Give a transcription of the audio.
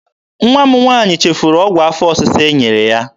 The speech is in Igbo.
Nwa m nwaanyị chefuru ọgwụ afọ ọsịsa e nyere ya.